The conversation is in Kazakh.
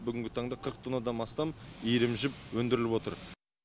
бүгінгі таңда қырық тоннадан астам иірім жіп өндіріліп отыр